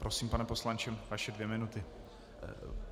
Prosím, pane poslanče, vaše dvě minuty.